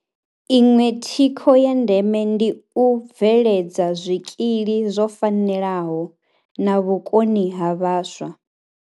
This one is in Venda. Iṅwe thikho ya ndeme ndi u bveledza zwikili zwo fanelaho na vhukoni ha vhaswa.